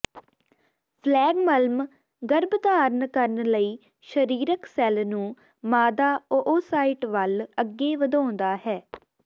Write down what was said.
ਫਲੈਗਮਲਮ ਗਰੱਭਧਾਰਣ ਕਰਨ ਲਈ ਸ਼ਰੀਰਕ ਸੈਲ ਨੂੰ ਮਾਦਾ ਓਓਸਾਇਟ ਵੱਲ ਅੱਗੇ ਵਧਾਉਂਦਾ ਹੈ